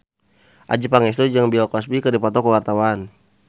Adjie Pangestu jeung Bill Cosby keur dipoto ku wartawan